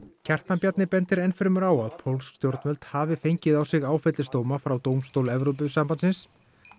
Kjartan Bjarni bendir enn fremur á að pólsk stjórnvöld hafi fengið á sig áfellisdóma frá dómstól Evrópusambandsins